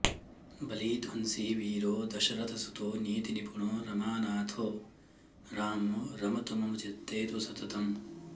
बलिध्वंसी वीरो दशरथसुतो नीतिनिपुणो रमानाथो रामो रमतु मम चित्ते तु सततम्